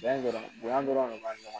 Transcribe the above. Bonya dɔrɔn bonya dɔrɔn de b'a ɲɔgɔn